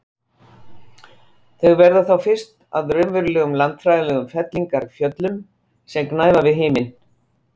Þau verða þá fyrst að raunverulegum landfræðilegum fellingafjöllum sem gnæfa við himin.